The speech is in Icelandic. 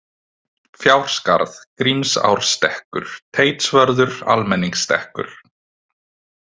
Fjárskarð, Grímsárstekkur, Teitsvörður, Almenningstekkur